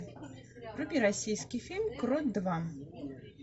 вруби российский фильм крот два